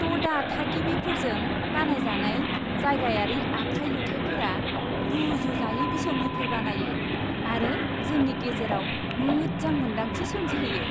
ट'डा थागिबिफोरजों बानायजानाय जायगायारि आखाइ लुथायफोरा रुजुजायै बिसम्बिफोर बानायो आरो जोंनि गेजेराव मोजां मोन्दांथि सोमजिहोयो।